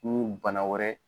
N'u bana wɛrɛ